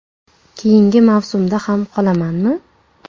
Keyingi mavsumda ham qolamanmi?